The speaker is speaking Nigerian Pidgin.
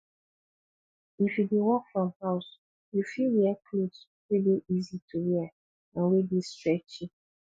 if you dey work from house you fit wear cloth wey dey easy to wear and wey dey stretchy